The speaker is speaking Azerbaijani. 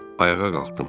Ayağa qalxdım.